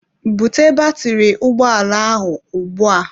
Bute batiri ụgbọala ahụ ugbu a!